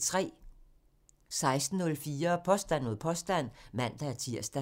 16:04: Påstand mod påstand (man-tir)